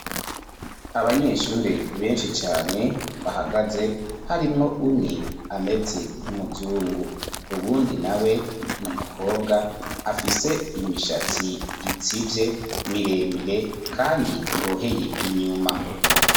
Abanyeshure benshi cane bahagaze harimwo umwe ameze nk'umuzungu. Uwundi nawe ni umukobwa afise imishatsi itsivye miremire kandi iboheye inyuma.